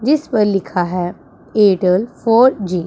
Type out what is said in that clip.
जिस पर लिखा है एयरटेल फोर जी ।